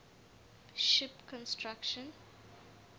ship construction